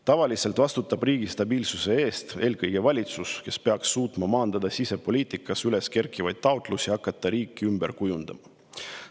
Tavaliselt vastutab riigi stabiilsuse eest eelkõige valitsus, kes peaks suutma maandada sisepoliitikas üles kerkivaid taotlusi hakata riiki ümber kujundama.